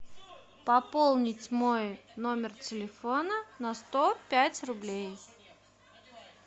пополнить мой номер телефона на сто пять рублей